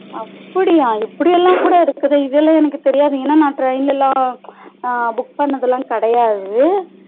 அப்டியா இப்டி எல்லாம் கூட இருக்குது இதுல எனக்கு தெரியாது ஏனா நா train லா book பண்ணத்துலாம்கிடையாது